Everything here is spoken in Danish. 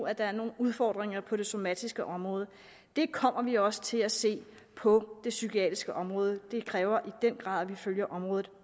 at der er nogle udfordringer på det somatiske område det kommer vi også til at se på det psykiatriske område og det kræver i den grad at vi følger området